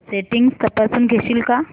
settings तपासून घेशील का